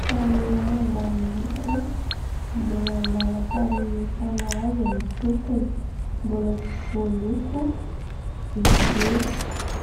trano iray ambany rihana mbola andalam-pamitana azy ny tompony, mbola tsy voaloko izy io